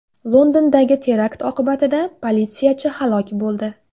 Londondagi terakt oqibatida politsiyachi halok bo‘ldi.